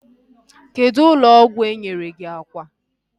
Kedụ ụlọ ọgwụ enyere gị akwa?